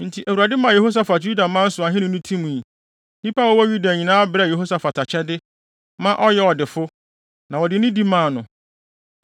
Enti Awurade maa Yehosafat Yudaman so ahenni no timii. Nnipa a wɔwɔ Yuda nyinaa brɛɛ Yehosafat akyɛde, ma ɔyɛɛ ɔdefo, na wɔde nidi maa no.